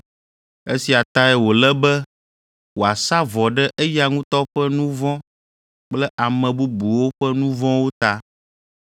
Esia tae wòle be wòasa vɔ ɖe eya ŋutɔ ƒe nu vɔ̃ kple ame bubuwo ƒe nu vɔ̃wo ta.